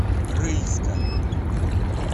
рыльска